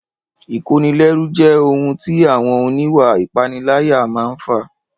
Ìkónilẹ́rú jẹ́ ohun tí àwọn oníwà ìpániláyà máa n fà